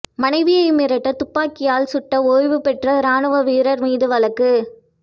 மனைவியை மிரட்ட துப்பாக்கியால் சுட்டஓய்வு பெற்ற ராணுவ வீரா் மீது வழக்கு